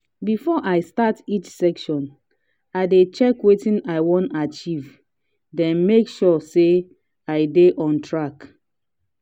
before i start each session i dey check wetin i want achieve then make sure say i dey on track.